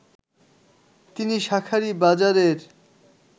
তিনি শাঁখারীবাজারের